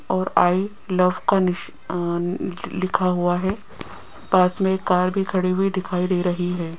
और I love का निश अं लिखा हुआ है पास में कार भी खड़ी हुई दिखाई दे रही है।